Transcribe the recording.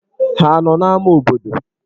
Ha nọ n'ámá obodo?